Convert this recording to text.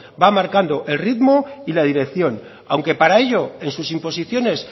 va marcando el ritmo y la dirección aunque para ello en sus imposiciones